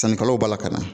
Sannikɛlaw b'a la ka na